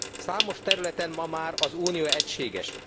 Számos területen ma már az Unió egységes.